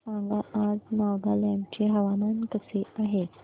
सांगा आज नागालँड चे हवामान कसे आहे